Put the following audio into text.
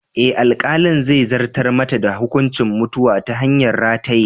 Eh, alkalin zai zartar mata da hukuncin mutuwa ta hanyar rataye.